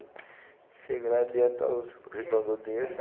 Chega lá adianta os os dono do dinheiro dá